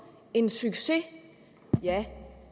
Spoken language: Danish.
en succes ja